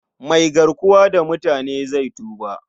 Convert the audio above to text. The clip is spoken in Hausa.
Mai garkuwa da mutanen zai tuba.